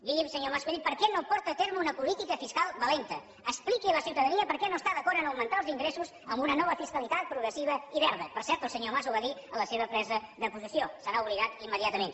digui’m senyor mas colell per què no porta a terme una política fiscal valenta expliqui a la ciutadania per què no està d’acord a augmentar els ingressos amb una nova fiscalitat progressiva i verda per cert el senyor mas ho va dir en la seva presa de possessió se n’ha oblidat immediatament